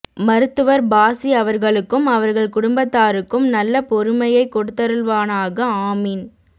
மருத்துவர் பாஸி அவர்களுக்கும் அவர்கள் குடும்பத்தாருக்கும் நல்ல பொறுமையை கொடுத்தருள்வானாக ஆமீன்